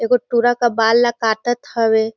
एक गोठ टूरा के बाल ला काटत हवे।